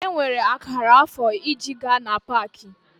Enwere akara afọ iji gaa na Pááki?